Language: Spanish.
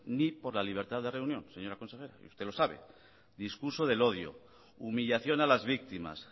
ni por la libertad de reunión señora consejera y usted lo sabe discurso del odio humillación a las víctimas